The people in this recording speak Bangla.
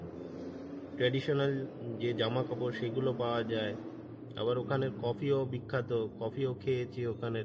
traditional যে জামা কাপড় সেগুলো পাওয়া যায়, আবার ওখানে coffee ও বিখ্যাত, coffee ও খেয়েছি ওখানের।